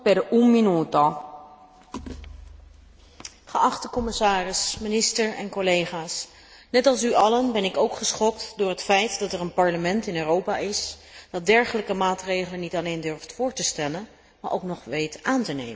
Voorzitter, geachte commissaris, minister en collega's, net als u allen ben ik ook geschokt door het feit dat er een parlement in Europa is dat dergelijke maatregelen niet alleen durft voor te stellen, maar ook nog weet aan te nemen.